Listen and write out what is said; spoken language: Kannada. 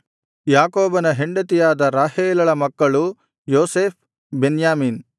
ಯಾಕೋಬನ ಹೆಂಡತಿಯಾದ ರಾಹೇಲಳ ಮಕ್ಕಳು ಯೋಸೇಫ್ ಬೆನ್ಯಾಮೀನ್